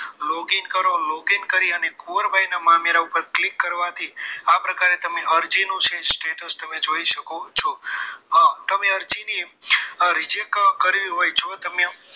Loging કરો અને logging કર્યાની કુંવરબાઈ ના મામેરા પર click કરવાથી આ પ્રકારે તમે અરજીનું status જોઈ શકો છો હા તમે અરજીની reject કરવી હોય તો તમને